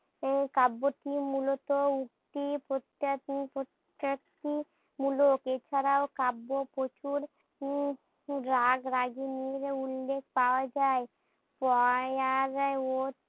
এই কাব্যটি মূলত উক্তি প্রত্তো প্রত্তটি মূলক এ ছাড়াও কাব্য প্রচুর উম রাগ রাগিণীর উল্লেখ পাওয়া যাই